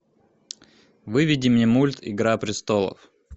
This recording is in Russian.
выведи мне мульт игра престолов